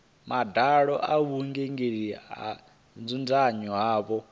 madalo a vhuingameli ho dzudzanywaho